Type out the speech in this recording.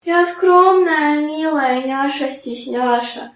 я скромная милая няша стесняша